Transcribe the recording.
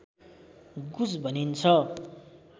गुज भनिन्छ